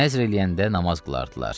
Nəzr eləyəndə namaz qılardılar.